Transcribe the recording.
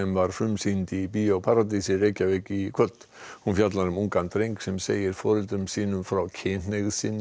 var frumsýnd í Bíó paradís í kvöld hún fjallar um ungan dreng sem segir foreldrum sínum frá kynhneigð sinni